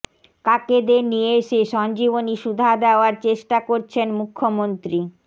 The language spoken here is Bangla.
কাকেদের নিয়ে এসে সঞ্জীবনী সুধা দেওয়ার চেষ্টা করছেন মুখ্যমন্ত্রী